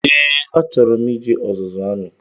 Ee, a chọrọ m ije ọzụzụ amị